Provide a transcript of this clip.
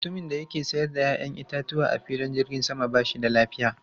Mutumin da ke sayar da 'ya'yan itatuwa a filin jirgin sama ba shi da lafiya.